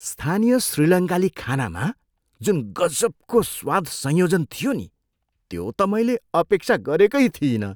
स्थानीय श्रीलङ्काली खानामा जुन गजबको स्वाद संयोजन थियो नि त्यो त मैले अपेक्षा गरेकै थिइनँ।